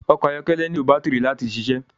Ọkọ ayọkẹlẹ nilo batiri láti ṣiṣẹ